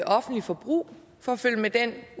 offentligt forbrug for at følge med den